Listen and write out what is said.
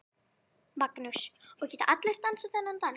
Magnús: Og geta allir dansað þennan dans?